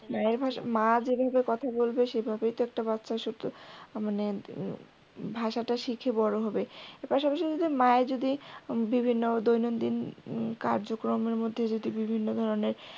মা যে ভাবে কথা বলবে সেভাবেই তো একটা বাচ্চা শিখবে হাঁ মানে ভাষাটা শিখে বড় হবে এর পাশাপাশি মায়ের যদি বিভিন্ন দৈনন্দিন কার্যক্রমের মধ্যে যদি বিভিন্ন ধরনের